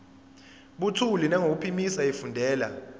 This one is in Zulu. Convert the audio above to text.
buthule nangokuphimisa efundela